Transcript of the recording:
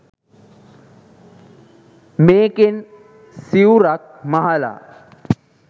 මේකෙන් සිවුරක් මහලා